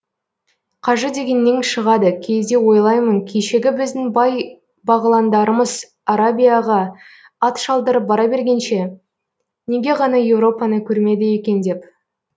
қажы дегеннен шығады кейде ойлаймын кешегі біздің бай бағыландарымыз арабияға ат шалдырып бара бергенше неге ғана европаны көрмеді екен деп